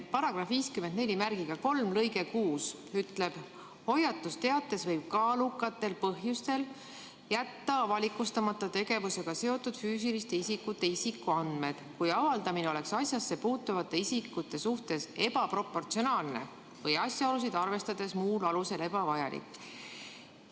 Paragrahvi 543 lõige 6 ütleb: "Hoiatusteates võib kaalukatel põhjustel jätta avalikustamata tegevusega seotud füüsiliste isikute isikuandmed, kui avaldamine oleks asjasse puutuvate isikute suhtes ebaproportsionaalne või asjaolusid arvestades muul alusel ebavajalik.